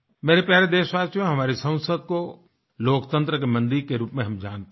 मेरे प्यारे देशवासियो हमारी संसद को लोकतंत्र के मंदिर के रूप में हम जानते हैं